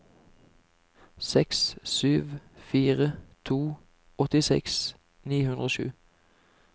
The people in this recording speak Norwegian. seks sju fire to åttiseks ni hundre og sju